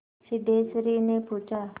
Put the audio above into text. सिद्धेश्वरीने पूछा